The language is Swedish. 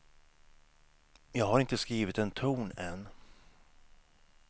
Jag har inte skrivit en ton än.